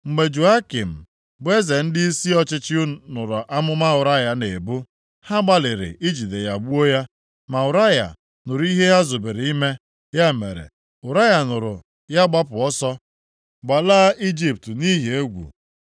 Mgbe Jehoiakim bụ eze na ndịisi ọchịchị nụrụ amụma Ụraya na-ebu, ha gbalịrị ijide ya gbuo ya, ma Ụraya nụrụ ihe ha zubere ime. Ya mere, Ụraya nụrụ ya gbapụ ọsọ gbalaa Ijipt nʼihi egwu.